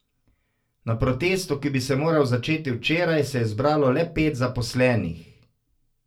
Na protestu, ki bi se moral začeti včeraj, se je zbralo le pet zaposlenih.